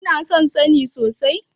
Kina son sani sosai?